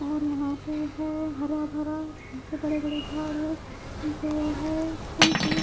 और यहां पे है हराभरा जो बड़े बड़े झाड़ है। जो है --